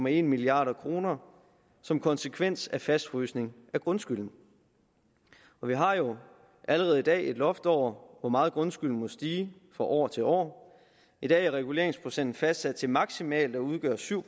en milliard kroner som konsekvens af fastfrysning af grundskylden vi har jo allerede i dag et loft over hvor meget grundskylden må stige fra år til år i dag er reguleringsprocenten fastsat til maksimalt at udgøre syv